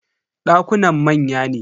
Dakunan manya ne.